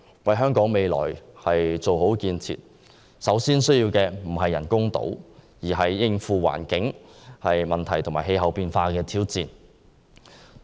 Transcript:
為香港未來做好建設，我們首先需要的不是人工島，而是須應付環境問題和氣候變化的挑戰。